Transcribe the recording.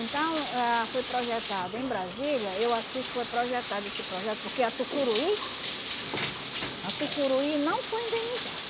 Então, ah foi projetado em Brasília, eu assisto, foi projetado esse projeto porque a Tucuruí, a Tucuruí não foi indenizada.